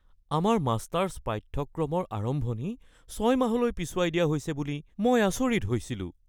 আমাৰ মাষ্টাৰ্ছ পাঠ্যক্ৰমৰ আৰম্ভণি ৬ মাহলৈ পিছুৱাই দিয়া হৈছে বুলি মই আচৰিত হৈছিলোঁ।